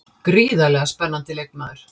Gríðarlega spennandi leikmaður.